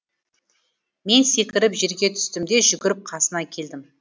мен секіріп жерге түстім де жүгіріп қасына келдім